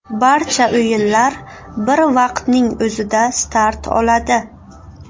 Barcha o‘yinlar bir vaqtning o‘zida start oladi.